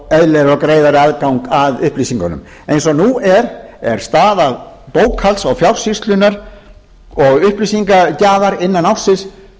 og greiðari aðgang að upplýsingunum eins og nú er er staða bókhalds og fjársýslunnar og upplýsingagjafar innan ársins